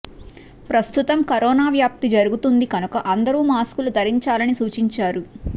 ప్రస్తుతం కరోనా వ్యాప్తి జరుగుతుంది కనుక అందరూ మాస్కులు ధరించాలని సూచించారు